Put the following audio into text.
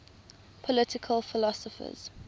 political philosophers